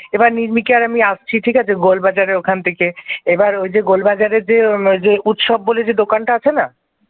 এবার নির্মমিকা আর আমি আসছি ঠিক আছে গোলবাজারের ওখান থেকে এবার ওই যে গোল বাজারের যে ওই যে উৎসব বলে দোকানটা আছে না?